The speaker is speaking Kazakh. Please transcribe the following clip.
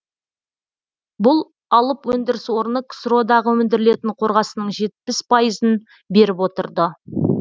бүл алып өндіріс орны ксро дағы өндірілетін қорғасынның жетпіс пайызын беріп отырды